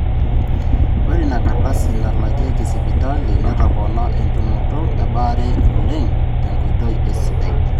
ore ina kardasi nalakieki sipitali netopona entumoto ebaare oleng tenkoitoi sidai